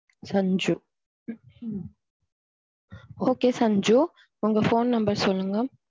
Sanju okay Sanju உங்க phone number சொல்லுங்க.